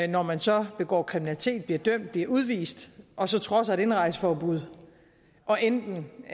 når man så begår kriminalitet bliver dømt bliver udvist og så trodser et indrejseforbud og enten